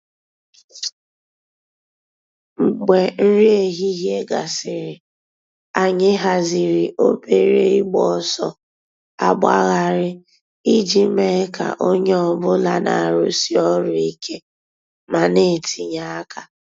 Mgbè nrí èhìhìè gásịrị, ànyị̀ hàzìrì òbèrè ị̀gba òsọ̀ àgbàghàrì íjì mée kà ònyè ọ̀bula nà-àrụ́sí òrụ̀ íké mà nà-ètìnyè àkà.